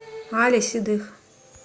али седых